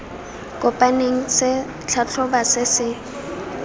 kopaneng se tlhatlhoba se se